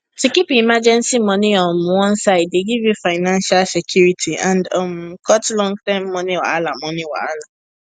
to keep emergency money um one side dey give you financial security and um cut longterm money wahala money wahala